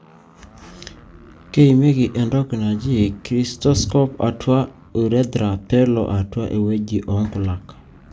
keimieki entoki naaji cystoscope atua urethra pelo atua eweuji onkulak.